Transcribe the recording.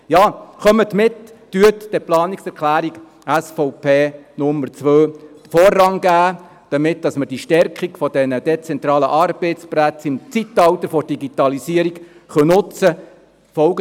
Ja, kommen Sie mit, geben Sie der Planungserklärung SVP, Nummer 2, den Vorrang, damit wir die Stärkung der dezentralen Arbeitsplätze im Zeitalter der Digitalisierung nutzen können.